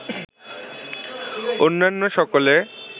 অন্যান্য সকলে